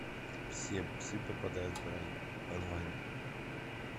все псы попадают в рай онлайн